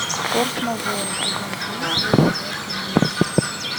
форс мажоры сезон три серия двадцать девять